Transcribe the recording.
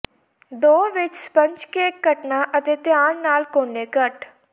ਦੋ ਵਿੱਚ sponge cake ਕੱਟਣਾ ਅਤੇ ਧਿਆਨ ਨਾਲ ਕੋਨੇ ਕੱਟ